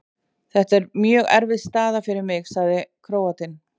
Þetta er mjög erfið staða fyrir mig, sagði Króatinn.